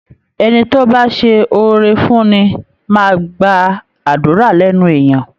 Ẹni tó bá ṣe oore fúnni máa gba àdúra lẹ́nu èèyan